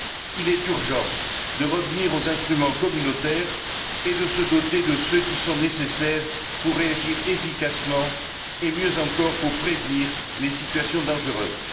Il est urgent de revenir aux instruments communautaires et de se doter de ceux qui sont nécessaires pour réagir efficacement et, mieux encore, pour prévenir les situations dangereuses.